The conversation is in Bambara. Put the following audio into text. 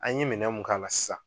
An ye minɛn mun k'a la sisan